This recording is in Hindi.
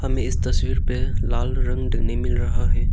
हमे इस तस्वीर पे लाल रंग देखने को मिल रहा है।